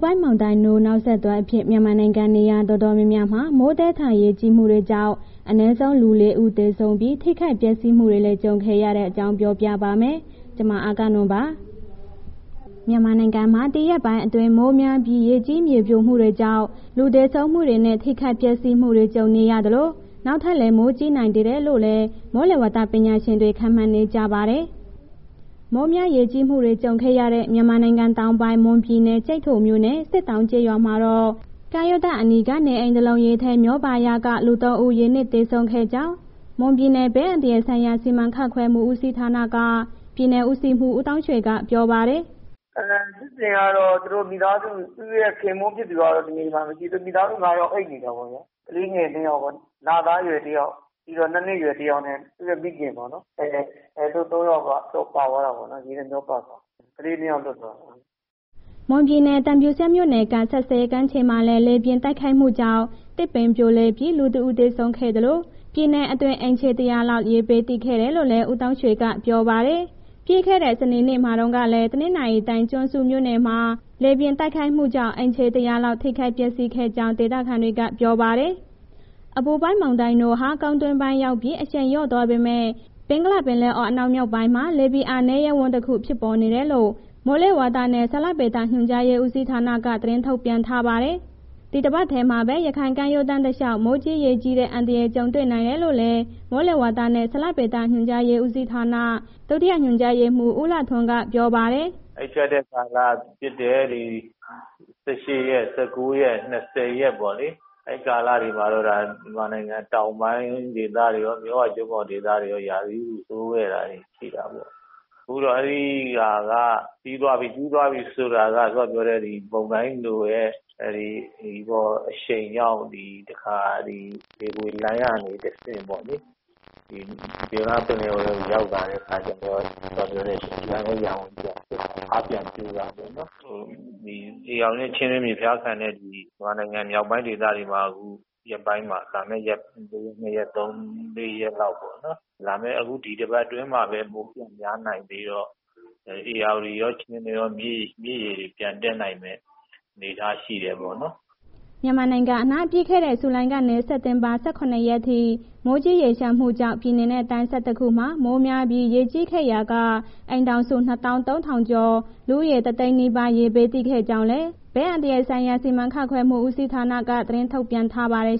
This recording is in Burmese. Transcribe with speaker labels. Speaker 1: ပိုင်းမုန်တိုင်း NOUL နောက်ဆက်တွဲအဖြစ် မြန်မာနိုင်ငံ နေရာတော်တော်များများမှာ မိုးသည်းထန် ရေကြီးမှုတွေကြောင့် အနည်းဆုံး လူ ၄ ဦး သေဆုံးပြီး ထိခိုက်ပျက်စီးမှုတွေလည်း ကြုံခဲ့ရတဲ့အကြောင်းကို ဗွီအိုအေမြန်မာပိုင်းသတင်းထောက် မအဂ္ဂနွန်က ပြောပြပါမယ်။ မြန်မာနိုင်ငံမှာ ဒီရက်ပိုင်းအတွင်း မိုးများပြီး ရေကြီးမြေပြိုမှုတွေကြောင့် လူသေဆုံးမှုတွေနဲ့ ထိခိုက်ပျက်စီးမှုတွေ ကြုံနေရသလို၊ နောက်ထပ်လည်း မိုးကြီးနိုင်သေးတယ်လို့ မိုးလေဝသပညာရှင်တွေ ခန့်မှန်းနေကြပါတယ်။ မိုးများရေကြီးမှုတွေ ကြုံခဲ့ရတဲ့ မြန်မာနိုင်ငံတောင်ပိုင်း မွန်ပြည်နယ် ကျိုက်ထိုမြို့နယ်၊ စစ်တောင်းကျေးရွာမှာတော့ ကမ်းရိုးတန်းအနီးက နေအိမ်တလုံး ရေထဲမျောပါရာက လူ ၃ ဦး ရေနစ်သေဆုံးခဲ့ကြောင်း မွန်ပြည်နယ်ဘေးအန္တရာယ်ဆိုင်ရာ စီမံခန့်ခွဲမှုဦးစီးဌာနက ပြည်နယ်ဦးစီးမှူး ဦးသောင်းရွှေက ပြောပါတယ်
Speaker 2: ။ “ဖြစ်စဉ်ကတော့ သူတို့ မိသားစု သူ့ရဲ့ ခင်ပွန်းဖြစ်သူက နေအိမ်မှာ မရှိ၊ မိသားစု ငါးယောက်အိပ်နေတာပေ့ါဗျ၊ ကလေးငယ် နှစ်ယောက်ပေါ့။ လသားအရွယ်တစ်ယောက် ပြီးတော့ ၂ နှစ်အရွယ်တစ်ယောက် သူ့ရဲ့ မိခင်ပေ့ါနော်၊ အဲ့သူတို့ သုံးယောက်က ပါသွားတာပေါ့၊ ရေမျှောပါသွားတယ်။ ကလေးနှစ်ယောက်လွတ်သွားတယ်
Speaker 1: ။” မွန်ပြည်နယ် သံဖြူဇရပ်မြို့နယ်က စက်စဲကမ်းခြေမှာလည်း လေပြင်းတိုက်ခတ်မှုကြောင့် သစ်ပင်ပြိုလဲပြီး လူ ၁ ဦး သေဆုံးခဲ့သလို၊ ပြည်နယ်အတွင်း အိမ်ခြေ ၁၀၀ လောက် လေဘေးသင့်ခဲ့တယ်လို့လည်း ဦးသောင်းရွှေကပြောပါတယ်။ ပြီးခဲ့တဲ့ စနေနေ့မှာတုန်းကလည်း တနင်္သာရီတိုင်း ကျွန်းစုမြို့နယ်မှာ လေပြင်းတိုက်ခတ်မှုကြောင့် အိမ်ခြေ ၁၀၀ လောက် ထိခိုက်ပျက်စီးခဲ့ကြောင်း ဒေသခံတွေက ပြောပါတယ်။ အပူပိုင်းမုန်တိုင်း NOUL ဟာ ကုန်းတွင်းဝင်ရောက်ပြီး အရှိန်လျော့သွားပေမဲ့ ဘင်္ဂလားပင်လယ်အော် အနောက်မြောက်ပိုင်းမှာ လေဖိအားနည်းရပ်ဝန်းတစ်ခု ဖြစ်ပေါ်နေတယ်လို့ မိုးလေဝသနဲ့ ဇလဗေဒညွှန်ကြားရေးဦးစီးဌာနက သတင်းထုတ်ပြန်ထားပါတယ်။ ဒီတပတ်ထဲမှာပဲ ရခိုင်ကမ်းရိုးတန်းတလျှောက် မိုးကြီးရေကြီးတဲ့ အန္တရာယ်ကြုံရနိုင်တယ်လို့လည်း မိုးလေဝသနဲ့ ဇလဗေဒညွှန်ကြားရေးဦးစီးဌာန ဒုတိယညွှန်ကြားရေးမှူး ဦးလှထွန်းက ပြောပါတယ်။
Speaker 2: “အဲ့ဖြတ်တဲ့ကာလဖြစ်တဲ့ ၁၈၊ ၁၉ ရက်၊ ၂၀ ရက်ပေါ့လေ၊ အဲ့ကာလတွေမှာတော့ ဒါမြန်မာနိုင်ငံတောင်ပိုင်းဒေသတွေရော မြစ်ဝကျွန်းပေါ်ဒေသတွေရော ရာသီဥတုဆိုးခဲ့တာတွေ ရှိတာပေါ့။ ဆိုတော့ အဲ့ဒီဟာက ပြီးသွားပြီ။ ပြီးသွားပြီဆိုတာက စောစောကပြောတဲ့ မုန်တိုင်း NOUL ရဲ့ အရှိန်ကြောင့် ဒီတခါ လေပွေလှိုင်းကနေ တဆင့်ပေ့ါလေ၊ ဒီဘင်္ဂလားပင်လယ်အော်ကို ရောက်လာတဲ့အခါကျတော့ လေဖိအားနည်းရပ်ဝန်ကြီးက အားပြန်ပြိုသွားတယ်ပေါ့နော်။ ဒီဧရာဝတီနဲ့ ချင်းတွင်းမြစ် ဒေသခံတွေ မြန်မာနိုင်ငံ မြောက်ပိုင်းဒေသတွေမှာ အခုရက်ပိုင်းမှာ လာမယ့် ၂ ရက်၊ ၃၊ ၄ ရက်လောက်ပေါ့နော်၊ လာမယ့် အခုဒီတစ်ပတ်အတွင်းမှာပဲ မိုးပြန်များနိုင်သေးတော့ ဧရာဝတီရော ချင်းတွင်းရော မြစ်ရေတွေ ပြန်တက်နိုင်တဲ့ အခြေအနေရှိတယ်ပေါ့နော်။
Speaker 1: " မြန်မာနိုင်ငံအနှံ့ ပြီးခဲ့တဲ့ ဇူလိုင်ကနေ စက်တင်ဘာ ၁၇ ရက်ထိ မိုးကြီးရေလျှံမှုကြောင့် ပြည်နယ်နဲ့ တိုင်း ၁၁ ခုမှာ မိုးများပြီး ရေကြီးခဲ့ရာက အိမ်ထောင်စု ၂၃,၀၀၀ ကျော်၊ လူဦးရေ ၁၀၀,၀၀၀ နီးပါး ရေဘေးသင့်ခဲ့ကြောင်းလည်း ဘေးအန္တရာယ်ဆိုင်ရာ စီမံခန့်ခွဲမှုဦးစီဌာနက သတင်းထုတ်ပြန်ထားပါတယ်